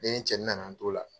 Ne ni cɛnin na n'an to o la